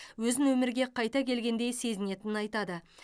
өзін өмірге қайта келгендей сезінетінін айтады